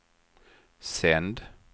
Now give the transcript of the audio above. sänd